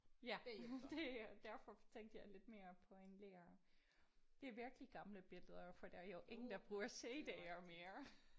Ja det er derfor tænkte jeg lidt mere på en lærer. Det er virkelig gamle billeder for der er jo ingen der bruger CD'er mere